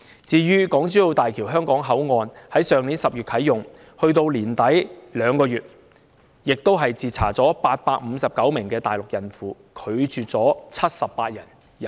至於港珠澳大橋香港口岸，入境處在口岸去年10月啟用後至去年年底共2個月期間，就截查了859名大陸孕婦，拒絕了78人入境。